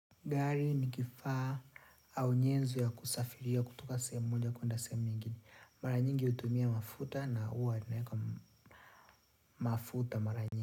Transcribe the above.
Gari ni kifaa au nyenzu ya kusafiria kutoka sehemu moja kwenda sehemu nyingine. Mara nyingi hutumia mafuta na huwa naeka mafuta mara nyingi.